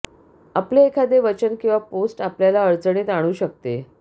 आपले एखादे वचन किंवा पोस्ट आपल्याला अडचणीत आणू शकते